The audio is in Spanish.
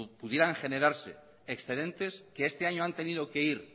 pudieran generarse excedentes que este año han tenido que ir